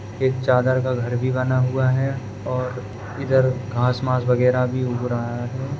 एक चादर का घर भी बना हुआ है और इधर घास मास वागेरह भी उग रहा है।